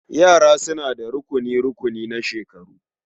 Yara suna da rukuni-rukuni na shekaru.